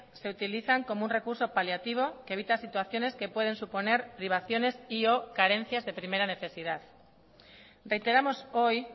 se utilizan como un recurso paliativo que evita situaciones que pueden suponer privaciones y o carencias de primera necesidad reiteramos hoy